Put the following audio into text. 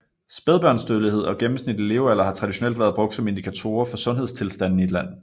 Spædbørnsdødelighed og gennemsnitlig levealder har traditionelt været brugt som indikatorer for sundhedstilstanden i et land